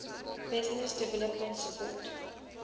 business development support